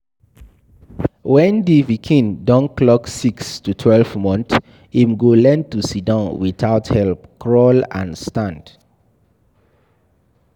When di pikin don clock six to twelve months, im go learn to sidon without help, crawl and stand